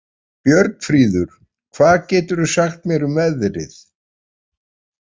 Björnfríður, hvað geturðu sagt mér um veðrið?